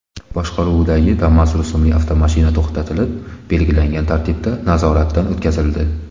boshqaruvidagi Damas rusumli avtomashina to‘xtatilib, belgilangan tartibda nazoratdan o‘tkazildi.